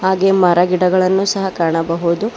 ಹಾಗೆ ಮರ ಗಿಡಗಳನ್ನು ಸಹ ಕಾಣಬಹುದು.